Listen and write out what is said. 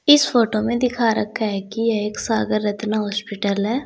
इस फोटो में दिखा रखा है कि एक सागर रत्ना हॉस्पिटल है।